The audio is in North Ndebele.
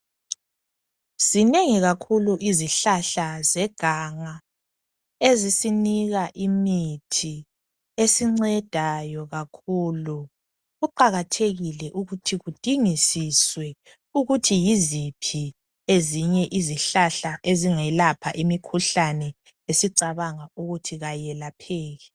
Ezinengi kakhulu izihlahla zeganga ezisinika imithi esincedayo kakhulu. Kuqakathekile ukuthi kudingisiswe ukuthi yiziphi ezinye izihlahla ezingelapha imikhuhlane esicabanga ukuthi ayelapheki